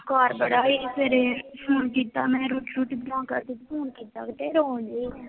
ਬੁਖਾਰ ਬੜਾ ਸੀ, ਸਵੇਰੇ ਫੋਨ ਕੀਤਾ ਮੈਂ, ਰੋਟੀ ਰੂਟੀ ਬਣਾ ਕੇ, ਫੋਨ ਤੇ ਏ ਰੋਣ ਡੀ